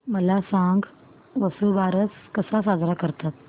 मला सांग वसुबारस कसा साजरा करतात